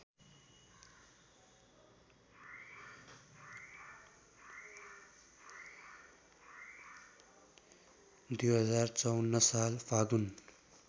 २०५४ साल फागुन